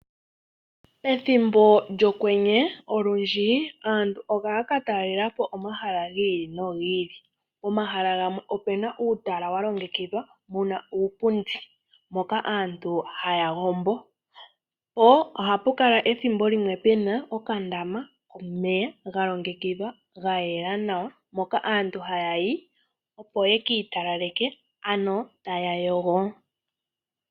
Ethimbo lyokwenye olundji aantu ohaatalelepo omahala giili no giili nopomaha ngaka opuna uutala walongekidhwa wuna iipundi hoka aantu haakutumba una taagombo, po ohapukala okandama komeya galongekidhilwa gayela nawa moka aantu ha yayi opo yekiitalaleke ano taya yogo.